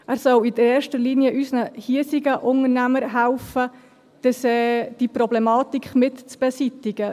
Er soll in erster Linie unseren hiesigen Unternehmern helfen, diese Problematik mit zu beseitigen.